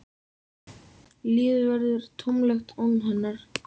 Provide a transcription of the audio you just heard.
Lífið verður tómlegt án hennar.